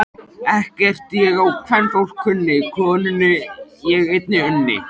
Ekkert ég á kvenfólk kunni, konunni ég einni unni.